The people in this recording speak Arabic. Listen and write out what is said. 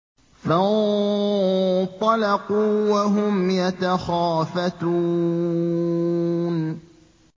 فَانطَلَقُوا وَهُمْ يَتَخَافَتُونَ